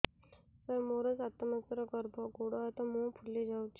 ସାର ମୋର ସାତ ମାସର ଗର୍ଭ ଗୋଡ଼ ହାତ ମୁହଁ ଫୁଲି ଯାଉଛି